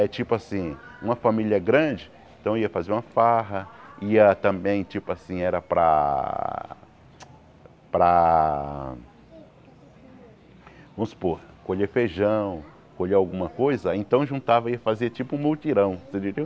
É tipo assim, uma família grande, então ia fazer uma farra, ia também, tipo assim, era para... Para... Vamos supor, colher feijão, colher alguma coisa, então juntava e fazia tipo um multirão, você entendeu?